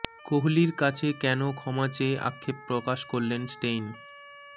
কোহলির কাছে কেন ক্ষমা চেয়ে আক্ষেপ প্রকাশ করলেন স্টেইন